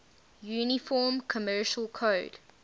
uniform commercial code